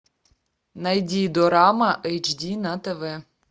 найди дорама эйч ди на тв